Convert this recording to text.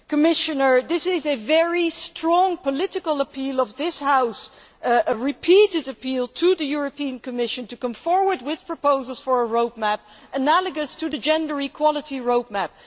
Commissioner, this is a very strong political appeal by this House a repeated appeal to the Commission to come forward with proposals for a road map analogous to the gender equality road map.